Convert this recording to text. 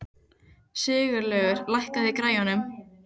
Sigurlaugur, lækkaðu í græjunum.